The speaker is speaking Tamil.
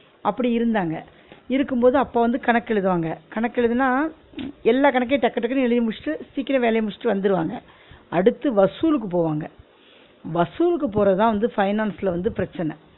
அப்டி இருந்தாங்க இருக்கும் போது அப்பா வந்து கணக்கு எழுதுவாங்க, கணக்கு எழுதுனா உச் எல்லா கணக்கயும் டக்கு டக்குன்னு எழுதி முடிச்சிட்டு சீக்கிர வேலய முடிச்சிட்டு வந்துருவாங்க அடுத்து வசூலுக்கு போவாங்க வசூலுக்கு போறதுதான் வந்து finance ல வந்து பிரச்சனை